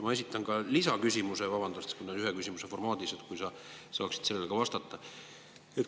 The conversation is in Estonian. Ma esitan ka lisaküsimuse, vabandust, ühe küsimuse formaadis, võib-olla sa saad ka sellele vastata.